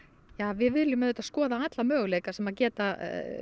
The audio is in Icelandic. við viljum auðvitað skoða alla möguleika sem geta